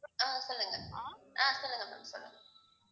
ஆஹ் சொல்லுங்க ஆஹ் சொல்லுங்க சொல்லுங்க